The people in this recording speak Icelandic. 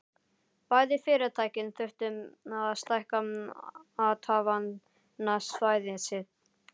Bæði fyrirtækin þurftu að stækka athafnasvæði sitt.